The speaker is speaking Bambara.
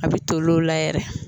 A bɛ toli o la yɛrɛ.